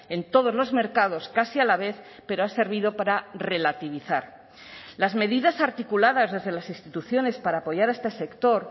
en todos los mercados casi a la vez pero ha servido para relativizar las medidas articuladas desde las instituciones para apoyar a este sector